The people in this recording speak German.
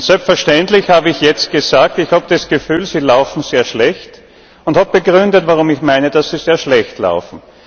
Selbstverständlich habe ich jetzt gesagt Ich habe das Gefühl, sie laufen sehr schlecht, und habe begründet, warum ich meine, dass sie sehr schlecht laufen.